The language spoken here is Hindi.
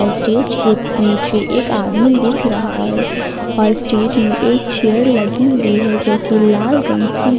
स्टेज के नीचे एक आदमी दिख रहा है और स्टेज में एक चेयर लगी हुई है जो की लाल रंग की है।